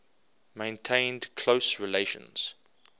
maintained close relations